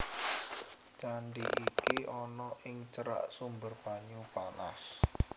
Candi iki ana ing cerak sumber banyu panas